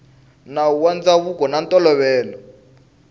nawu wa ndzhavuko na ntolovelo